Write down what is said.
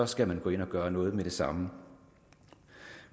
skal man gå ind og gøre noget med det samme